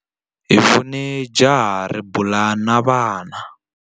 Hi vone jaha ri bula na vana.